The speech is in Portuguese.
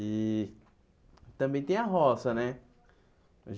E também tem a roça, né?